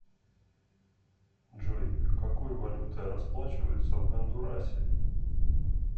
джой какой валютой расплачиваются в гондурасе